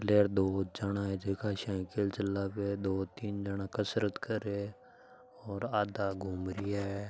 प्लेयर दो जणा है जीका साइकिल चलावे दो तीन जणा कसरत करयो है और आधा घूम रिया है।